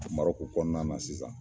MARƆKU kɔnɔna na sisan.